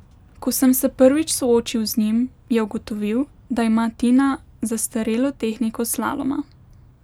Ko sem se prvič soočil z njim, je ugotovil, da ima Tina zastarelo tehniko slaloma.